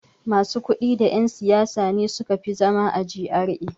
Masu kuɗi da yan' siyasa ne suka fi zama a G.R.A.